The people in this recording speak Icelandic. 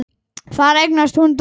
Þar eignast hún dóttur.